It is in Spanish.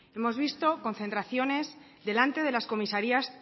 hemos visto concentraciones delante de las comisarías